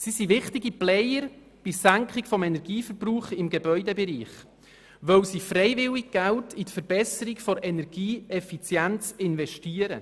Sie sind wichtige Player bei der Senkung des Energieverbrauchs im Gebäudebereich, weil sie freiwillig Geld in die Verbesserung der Energieeffizienz investieren.